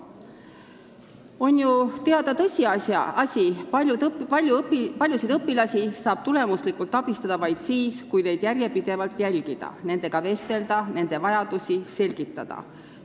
On ju teada tõsiasi, et paljusid õpilasi saab tulemuslikult abistada vaid siis, kui neid järjepidevalt jälgida, nendega vestelda ja nende vajadusi selgitada.